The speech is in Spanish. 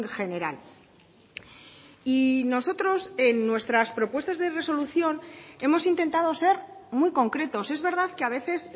general y nosotros en nuestras propuestas de resolución hemos intentado ser muy concretos es verdad que a veces